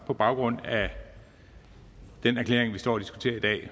på baggrund af den erklæring vi står og diskuterer i dag